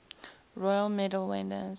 royal medal winners